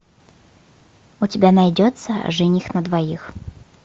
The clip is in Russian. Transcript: у тебя найдется жених на двоих